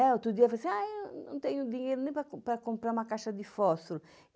Outro dia eu falei assim, ah, eu não tenho dinheiro nem para para comprar uma caixa de fósforo.